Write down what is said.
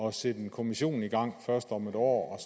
at sætte en kommission i gang først om et år